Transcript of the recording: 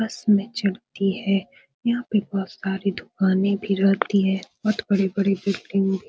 बस में चढ़ती है | यहाँ पे बहुत सारी दुकानें भी रहती है | बहुत बड़े-बड़े बिल्डिंग --